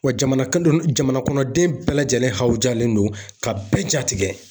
Wa jamana kan jamanakɔnɔden bɛɛ lajɛlen hawujalen don ka bɛɛ jatigɛ